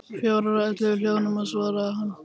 Fjórar, og ellefu hljóðnema, svaraði hann.